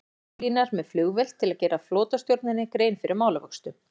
Berlínar með flugvél til að gera flotastjórninni grein fyrir málavöxtum.